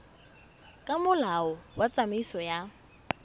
ka molao wa tsamaiso ya